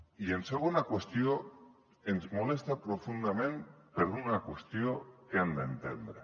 i en segona qüestió ens molesta profundament per una qüestió que han d’entendre